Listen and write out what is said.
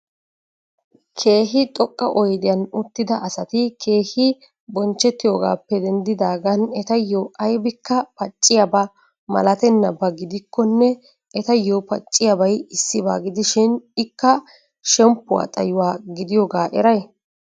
Keehi xoqa oyddiyan uttida asati keehi bonchchetiyogappe dendidagan etayo aybikka pacciyaba milattenaba gidikkonne etayo pacciyabay issiba gidishin ikka shemppuwa xayuwa gidiyooga eray?